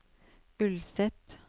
Ulset